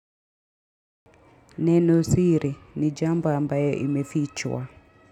Neno siri ni jambo ambayo imefichwa.